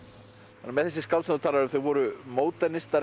með þessi skáld sem þú talar um þau voru